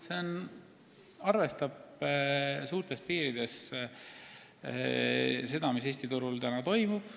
See arvestab suurtes piirides seda, mis Eesti tööturul toimub.